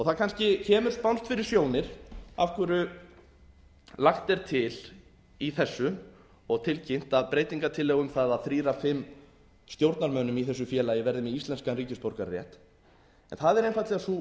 það kannski kemur spánskt fyrir sjónir af hverju lagt er til í þessu og tilkynnt að breytingartillögur um það að tveir af fimm stjórnarmönnum í þessu félagi verði með íslenskan ríkisborgararétt það er einfaldlega sú